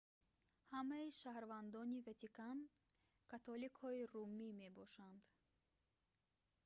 ҳамаи шаҳрвандони ватикан католикҳои румӣ мебошанд